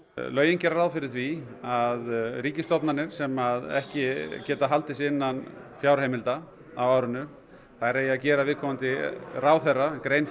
lögin gera ráð fyrir því að ríkisstofnanir sem ekki geta haldið sig innan fjárheimilda á árinu þær eigi að gera viðkomandi ráðherra grein